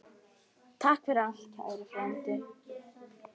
Takk fyrir allt, kæri frændi.